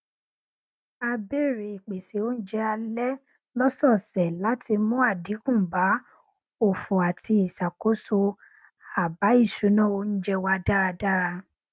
a bẹrẹ ìpésé oúnjẹ alẹ lọsọọsẹ láti mú àdínkù bá òfò àti ìṣàkóso àbá ìṣúná oúnjẹ wa dára